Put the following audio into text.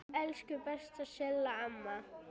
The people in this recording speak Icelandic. Elsku besta Silla amma.